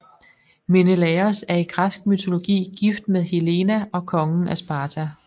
Menelaos er i græsk mytologi gift med Helena og konge af Sparta